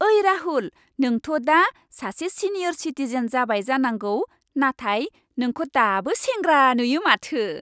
ओइ राहुल, नोंथ' दा सासे सिनियर सिटिजेन जाबाय जानांगौ, नाथाय नोंखौ दाबो सेंग्रा नुयो माथो।